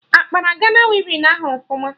Akpara Gana wivin ahụ ọfụma?